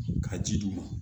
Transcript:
Ka ji d'u ma